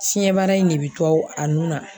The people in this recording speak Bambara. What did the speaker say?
Fiɲɛbara in de be to a nun na